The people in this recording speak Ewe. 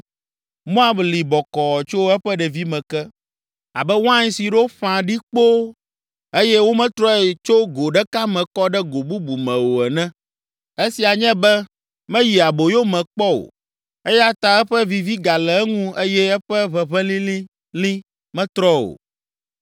“Moab li bɔkɔɔ tso eƒe ɖevime ke abe wain si ɖo ƒã ɖi kpoo eye wometrɔe tso go ɖeka me kɔ ɖe go bubu me o ene; esia nye be meyi aboyo me kpɔ o. Eya ta eƒe vivi gale eŋu eye eƒe ʋeʋẽ lĩlĩlĩ metrɔ o.